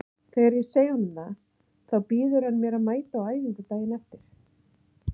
Þegar ég segi honum það þá býður hann mér að mæta á æfingu daginn eftir.